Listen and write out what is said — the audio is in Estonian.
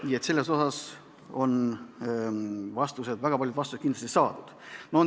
Nii et selles osas on väga paljud vastused kindlasti saadud.